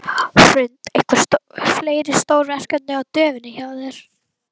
Hrund: Einhver fleiri stór verkefni á döfinni hjá þér?